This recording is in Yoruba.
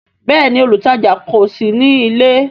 Bẹẹni, olutaja kò sí nílé